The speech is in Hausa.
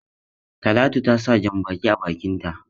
Talatu ta sa jan-baki a bakinta.